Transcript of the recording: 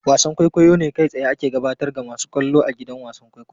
Wasan kwaikwayo ne kai tsaye ake gabatar ga masu kallo a gidan wasan kwaikwayo.